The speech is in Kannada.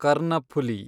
ಕರ್ನಫುಲಿ